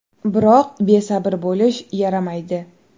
Biroq besabr bo‘lish yaramaydi.